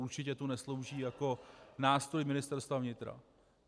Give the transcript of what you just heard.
Určitě tu neslouží jako nástroj Ministerstva vnitra.